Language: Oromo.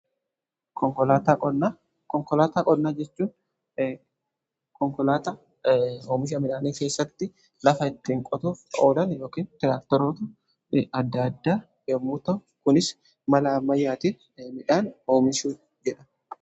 Konkolaataa qonnaa jechuun konkolaataa oomisha midhaanii keessatti lafa ittiin qotuuf oolan yookiin tiraakteroota adda addaa yommuu ta'an kunis mala ammayyaatiin midhaan oomishuu jedhama.